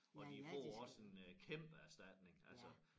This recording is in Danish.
Og de får også en øh kæmpe erstatning altså